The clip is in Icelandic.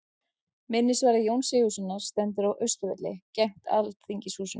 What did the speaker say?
Minnisvarði Jóns Sigurðssonar stendur á Austurvelli, gegnt Alþingishúsinu.